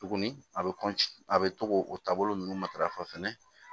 Tuguni a bɛ a bɛ to k'o o taabolo ninnu matarafa fɛnɛ